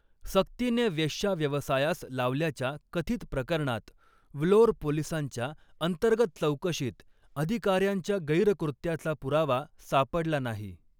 सक्तीने वेश्याव्यवसायास लावल्याच्या कथित प्रकरणात व्लोर पोलिसांच्या अंतर्गत चौकशीत अधिकाऱ्यांच्या गैरकृत्याचा पुरावा सापडला नाही.